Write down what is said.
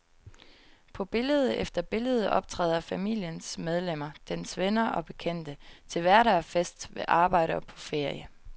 På billede efter billede optræder familiens medlemmer, dens venner og bekendte, til hverdag og fest, ved arbejde og på ferie.